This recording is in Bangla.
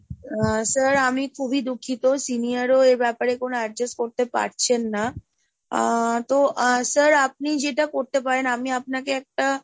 আহ sir আমি খুবই দুঃখিত senior ও এ ব্যাপারে কোন adjust করতে পারছেন না, আহ তো আহ sir আপনি যেটা করতে পারেন আমি আপনাকে একটা,